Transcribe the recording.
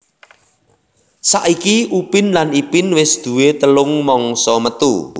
Saiki Upin lan Ipin wis duwé telung mangsa metu